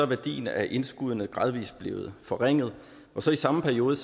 værdien af indskuddene gradvis blevet forringet i samme periode